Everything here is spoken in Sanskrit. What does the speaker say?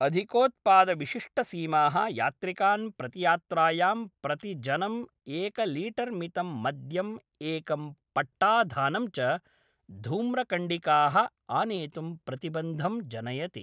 अधिकोत्पादविशिष्टसीमाः यात्रिकान् प्रतियात्रायां प्रतिजनम् एकलीटर्मितं मद्यम् एकं पट्टाधानं च धूम्रकण्डिकाः आनेतुं प्रतिबन्धं जनयति ।